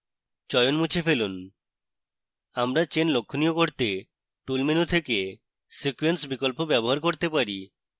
চয়ন মুছে ফেলুন আমরা chains লক্ষণীয় করতে tools menu থেকে sequence বিকল্প ব্যবহার করতে পারি